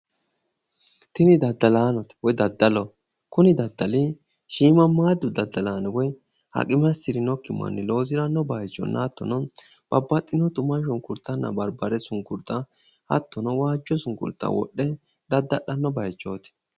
Tini daddalaanote kuni. daddali shiimmaammaaddu haqime assirinokki manni loosiranno bayichinna hattono babbaxxino tuma shunkurtanna barbare sunkurta hattono waajjo sunkurta wodhe dadda'lanno baychooti.